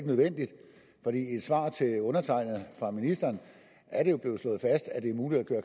nødvendigt for i et svar til undertegnede fra ministeren er det jo blevet slået fast at det er muligt at